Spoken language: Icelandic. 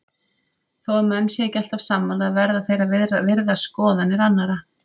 Þó að menn séu ekki alltaf sammála verða þeir að virða skoðanir annara.